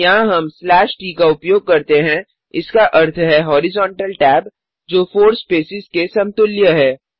यहाँ हम slash t का उपयोग करते हैं इसका अर्थ है हॉरिजोंटल टैब जो 4 स्पेसेस के समतुल्य है